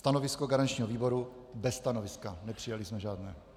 Stanovisko garančního výboru: bez stanoviska, nepřijali jsme žádné.